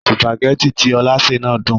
Sùpàgẹ́tì tí Ọlá sè náà dùn.